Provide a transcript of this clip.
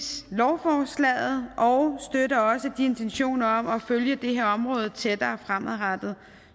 lovforslaget og støtter også intentionerne om at følge det her område tættere fremadrettet